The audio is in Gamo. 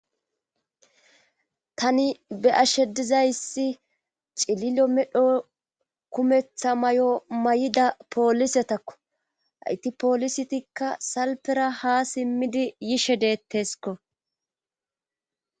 Tani be7ashe dizayssi cililo medho kumetha may7o may7ida poolisetakko hayti poolisitikka salpera haa simmidi yishe deettesko.